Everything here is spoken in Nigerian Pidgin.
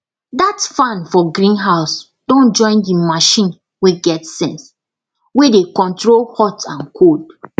that fan for greenhouse don join the machine wey get sense wey dey control hot and cold